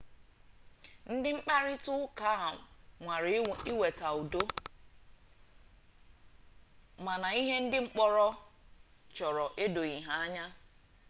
ndị mkparịta ụka nwara ịweta udo mana ihe ndị mkpọrọ chọrọ edoghi anya